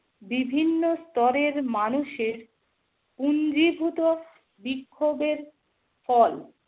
বিভিন্ন স্তরের মানুষের পুঞ্জীভূত বিক্ষোভের ফল।